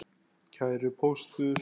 Kæri Póstur!